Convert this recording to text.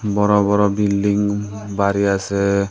বড় বড় বিল্ডিং বাড়ি আছে।